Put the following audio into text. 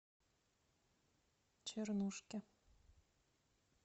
чернушки